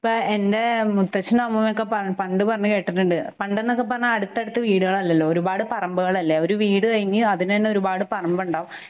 ഇപ്പ എന്റേ മുത്തച്ഛനമ്മൂമ്മയൊക്കെ പണ്ട് പറഞ്ഞ് കേട്ടിട്ടുണ്ട് . പണ്ടെന്നൊക്കെ പറഞ്ഞ അടുത്തടുത്ത് വീടുകൾ അല്ലല്ലൊ ഒരുപാട് പറമ്പുകളല്ലെ. ഒരു വീട് കഴിഞ്ഞ് അതിനുതന്നെ ഒരുപാട് പറമ്പുണ്ടാവും